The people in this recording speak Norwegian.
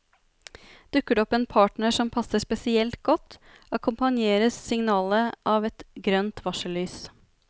Dukker det opp en partner som passer spesielt godt, akkompagneres signalet av et grønt varsellys.